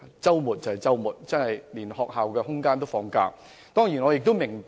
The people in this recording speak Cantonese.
在周末，連學校的場地設施也在"放假"。